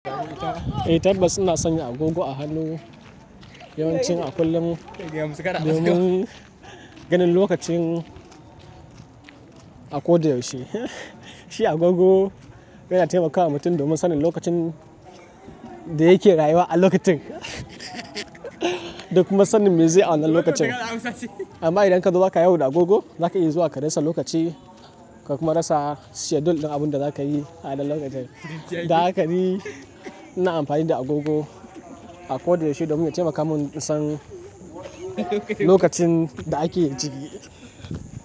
Eh tabbas ina sanya agogo a hannu, yawancin a kullum domin ganin lokacin a ko da yaushe. Shi agogo yana taimakawa mutum domin sanin lokacin da yake rayuwa a lokacin da kuma sanin me zai auna lokacin. Amma idan ka zo za ka yawo da agogo, za ka iya zuwa ka rasa lokaci ka kuma rasa jadawalin na abin da za ka yi a wannan lokacin. Da haka ni ina amfani da agogo a ko da yaushe domin ya taimaka mun in san lokacin da ake ciki.